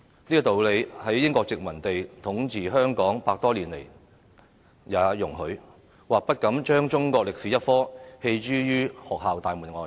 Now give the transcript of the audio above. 這個道理在英國殖民者統治香港100多年來也容許，不敢將中國歷史科棄諸於學校大門外。